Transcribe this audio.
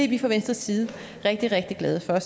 vi fra venstres side rigtig rigtig glade for